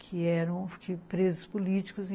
Que eram presos políticos.